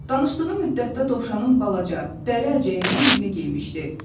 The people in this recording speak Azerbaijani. Danışdığı müddətdə dovşanın balaca dəri əlcəyindən birini geyinmişdi.